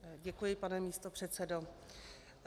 Děkuji, pane místopředsedo.